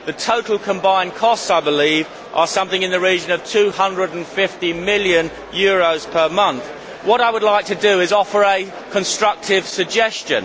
The total combined costs, I believe, are something in the region of EUR 250 million per month. What I would like to do is to offer a constructive suggestion.